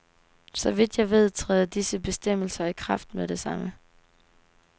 Så vidt jeg ved, træder disse bestemmelser i kraft med det samme.